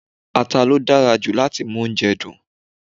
Ata ló dára jù láti mú oúnjẹ dùn.